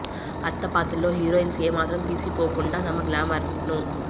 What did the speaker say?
అత్త పాత్రలో హీరోయిన్స్ ఏ మాత్రం తీసిపోకుండా తమ గ్లామర్ ను